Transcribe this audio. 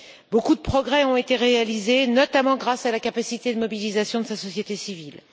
Beaucoup de progrès ont été réalisés, notamment grâce à la capacité de mobilisation de sa société civile.